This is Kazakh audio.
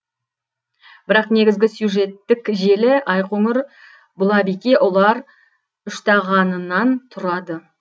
бірақ негізгі сюжеттік желі айқоңыр бұлабике ұлар үштағанынан тұрады